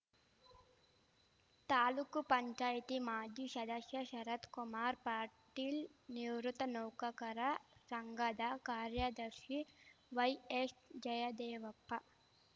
ತಾಲೂಕ್ ಪಂಚಾಯ್ತಿ ಮಾಜಿ ಶದಶ್ಯ ಶರತ್‌ಕುಮಾರ್‌ ಪಾಟೀಲ್‌ ನಿವೃತ್ತ ನೌಕಕರ ಶಂಘದ ಕಾರ್ಯದರ್ಶಿ ವೈಎಶ್ಜಯದೇವಪ್ಪ